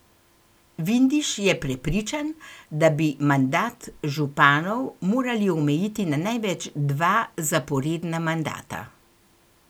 Vindiš je prepričan, da bi mandat županov morali omejiti na največ dva zaporedna mandata.